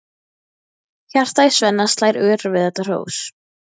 Hjartað í Svenna slær örar við þetta hrós.